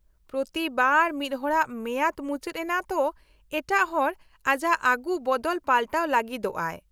-ᱯᱨᱚᱛᱤ ᱵᱟᱨ ᱢᱤᱫ ᱦᱚᱲᱟᱜ ᱢᱮᱭᱟᱫ ᱢᱩᱪᱟᱹᱫ ᱮᱱᱟ ᱛᱚ ᱮᱴᱟᱜ ᱦᱚᱲ ᱟᱡᱟᱜ ᱟᱜᱩ ᱵᱚᱫᱚᱞ ᱯᱟᱞᱴᱟᱣ ᱞᱟᱹᱜᱤᱫᱚᱜᱼᱟᱭ ᱾